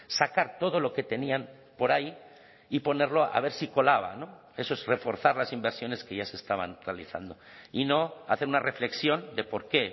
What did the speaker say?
sacar todo lo que tenían por ahí y ponerlo a ver si colaba no eso es reforzar las inversiones que ya se estaban realizando y no hacer una reflexión de por qué